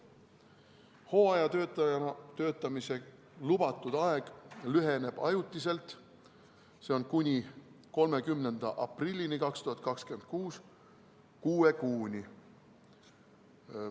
Hooajatöötajana töötamise lubatud aeg lüheneb ajutiselt, kuni 30. aprillini 2026, kuue kuuni.